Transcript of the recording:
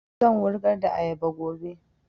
Zan wurgar da ayaba gobe don